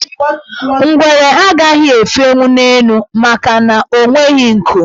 Ngwere agaghị efenwu n' elu makana o nweghi nku.